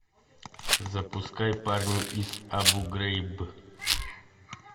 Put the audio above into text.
запускай парни из абу грейб